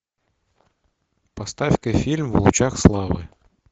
поставь ка фильм в лучах славы